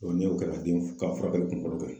Ɔn ne y'o kɛ ka den ka furakɛli kunkolo